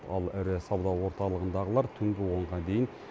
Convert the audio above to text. ал ірі сауда орталығындағылар түнгі онға дейін